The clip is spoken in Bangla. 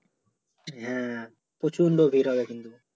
হ্যাঁ প্রচণ্ড ভিড় হবে কিন্তু